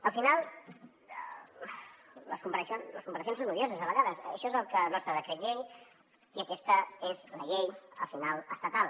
al final les comparacions són odioses a vegades això és el nostre decret llei i aquesta és la llei al final estatal